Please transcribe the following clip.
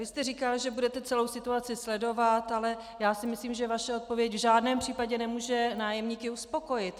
Vy jste říkal, že budete celou situaci sledovat, ale já si myslím, že vaše odpověď v žádném případě nemůže nájemníky uspokojit.